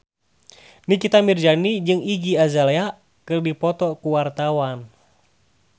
Nikita Mirzani jeung Iggy Azalea keur dipoto ku wartawan